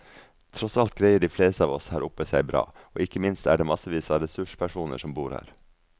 Tross alt greier de fleste av oss her oppe seg bra, og ikke minst er det massevis av ressurspersoner som bor her.